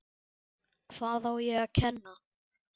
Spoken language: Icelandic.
Hvað á ekki að kenna?